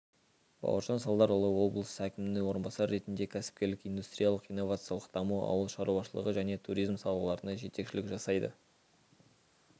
бауыржан салдарұлы облыс әкімінің орынбасары ретінде кәсіпкерлік индустриялық-инновациялық даму ауыл шаруашылығы және туризм салаларына жетекшілік жасайды